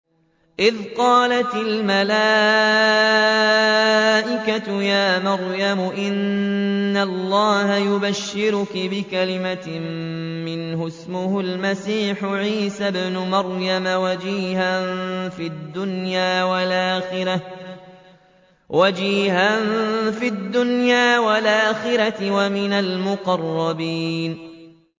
إِذْ قَالَتِ الْمَلَائِكَةُ يَا مَرْيَمُ إِنَّ اللَّهَ يُبَشِّرُكِ بِكَلِمَةٍ مِّنْهُ اسْمُهُ الْمَسِيحُ عِيسَى ابْنُ مَرْيَمَ وَجِيهًا فِي الدُّنْيَا وَالْآخِرَةِ وَمِنَ الْمُقَرَّبِينَ